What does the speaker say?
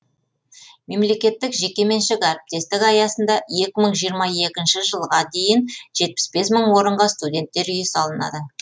мемлекеттік жекеменшік әріптестік аясында екі мың жиырма екінші жылға дейін жетпіс бес мың орынға студенттер үйі салынады